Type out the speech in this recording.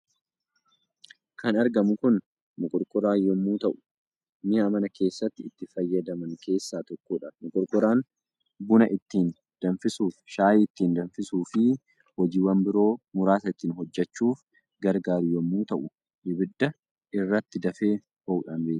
Kan argamu kun Moqorqoraa yommuu ta'u mi'a mana keessatti itti fayyadaman keessaa tokkodha. Moqorqoraan buna ittiin danfisuuf, shaayii ittiin danfisuuf fi hojiiwwan biroo muraasa ittiin hojjechuuf gargaaru yommuu ta'u, ibidda irratti dafee ho'uudhaan beekama.